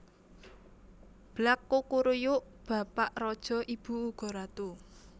Blak kukuruyuuuuk Bapa raja Ibu uga ratu